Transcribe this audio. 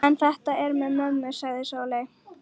En þetta með mömmu, sagði Sóley.